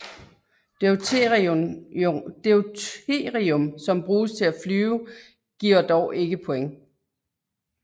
Deuterium som bruges til at flyve giver dog ikke points